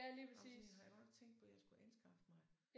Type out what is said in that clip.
Ej men sådan en har jeg godt nok tænkt på jeg skulle anskaffe mig